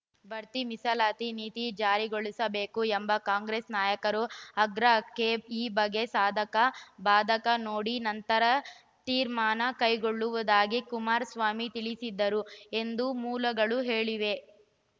ಬಡ್ತಿ ಮೀಸಲಾತಿ ನೀತಿ ಜಾರಿಗೊಳಿಸಬೇಕು ಎಂಬ ಕಾಂಗ್ರೆಸ್‌ ನಾಯಕರು ಆಗ್ರಹಕ್ಕೆ ಈ ಬಗ್ಗೆ ಸಾಧಕ ಬಾಧಕ ನೋಡಿ ನಂತರ ತೀರ್ಮಾನ ಕೈಗೊಳ್ಳುವುದಾಗಿ ಕುಮಾರಸ್ವಾಮಿ ತಿಳಿಸಿದರು ಎಂದು ಮೂಲಗಳು ಹೇಳಿವೆ